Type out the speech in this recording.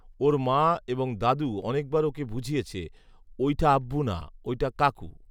ওর মা এবং দাদু অনেকবার ওকে বুঝিয়েছে ঐঠা আব্বু না, ঐটা কাকু